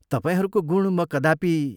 तपाईंहरूको गुण म कदापि......